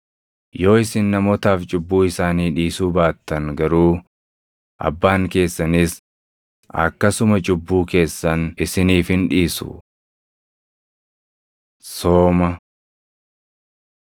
Yoo isin namootaaf cubbuu isaanii dhiisuu baattan garuu, Abbaan keessanis akkasuma cubbuu keessan isiniif hin dhiisu. Sooma